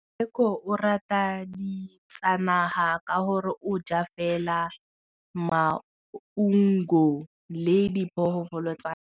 Tshekô o rata ditsanaga ka gore o ja fela maungo le diphologolo tsa naga.